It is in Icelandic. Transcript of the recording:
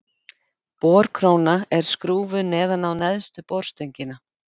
Borkróna er skrúfuð neðan á neðstu borstöngina.